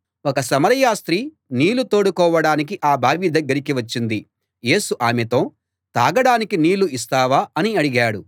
ఒక సమరయ స్త్రీ నీళ్ళు తోడుకోవడానికి ఆ బావి దగ్గరికి వచ్చింది యేసు ఆమెతో తాగడానికి నీళ్ళు ఇస్తావా అని అడిగాడు